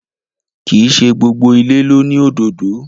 Kìí ṣe gbogbo ìlé lóni òdódó